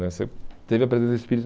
né Você teve a presença do Espírito...